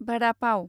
भादा पाव